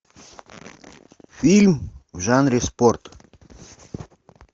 фильм в жанре спорт